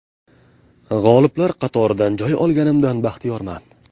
G‘oliblar qatoridan joy olganimdan baxtiyorman.